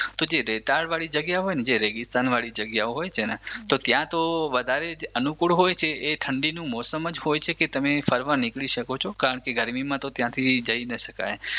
તો જે રેતાળ વાળી જગ્યા હોય ને જે રેગિસ્તાન વાળી જગ્યા હોય છે ને તો ત્યાં તો વધારે જ અનુકૂળ હોય છે એ ઠંડીની મોસમ જ હોય છે કે તમે ફરવા નીકળી શકો છો કારણકે ગરમીમાં તો ત્યાંથી જઈ ના શકાય